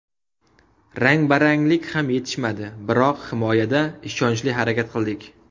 Rangbaranglik ham yetishmadi, biroq himoyada ishonchli harakat qildik.